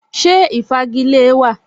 Ṣé ìfagilée wa?